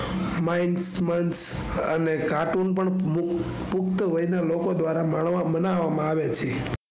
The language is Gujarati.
માઈક મન અને કાર્ટૂન પણ પુખ્ત વાય ના લોકો દ્વારા માણવા મનવામાં આવે છે.